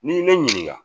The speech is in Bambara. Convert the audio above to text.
N'i ye ne ɲininka